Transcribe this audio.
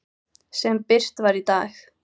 sem birt var í dag.